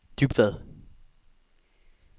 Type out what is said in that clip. Dybvad